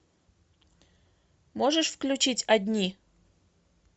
можешь включить одни